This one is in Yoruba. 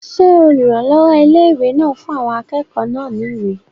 Ṣé olùrànlọ́wọ́ ilé-ìwé náà fún àwọn akẹ́kọ̀ọ́ náà ní ìwé?